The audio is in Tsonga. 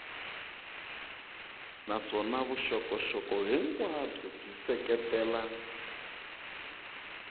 naswona vuxokoxoko hinkwabyo byi seketela